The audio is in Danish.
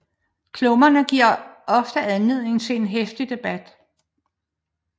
Klummerne giver ofte anledning til en heftig debat